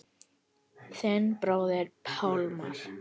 Þinn bróðir Pálmar.